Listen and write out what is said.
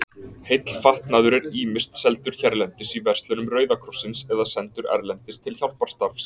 Heill fatnaður er ýmist seldur hérlendis í verslunum Rauða krossins eða sendur erlendis til hjálparstarfs.